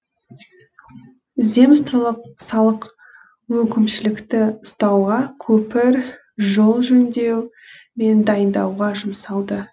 земстволық салық өкімшілікті ұстауға көпір жол жөндеу мен дайындауға жұмсалды